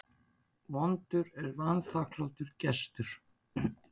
Vondur er vanþakklátur gestur.